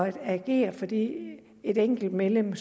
at agere fordi et enkelt medlem